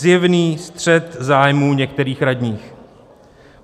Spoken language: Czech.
Zjevný střet zájmů některých radních.